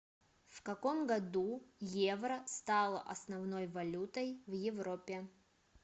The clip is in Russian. в каком году евро стало основной валютой в европе